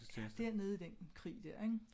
Ja dér nede i den krig dér ik